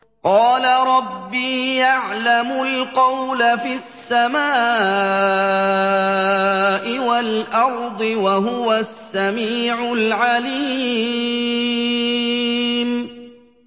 قَالَ رَبِّي يَعْلَمُ الْقَوْلَ فِي السَّمَاءِ وَالْأَرْضِ ۖ وَهُوَ السَّمِيعُ الْعَلِيمُ